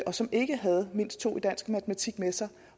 som ikke havde mindst to i dansk og matematik med sig